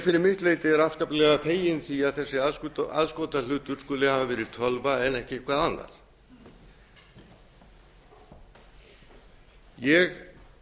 fyrir mitt leyti er ég afskaplega feginn því að þessi aðskotahlutur skuli hafa verið tölva en ekki eitthvað annað ég